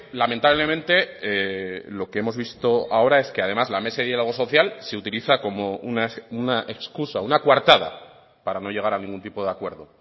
lamentablemente lo que hemos visto ahora es que además la mesa de diálogo social se utiliza como una excusa una coartada para no llegar a ningún tipo de acuerdo